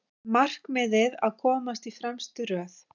Markmiðið að komast í fremstu röð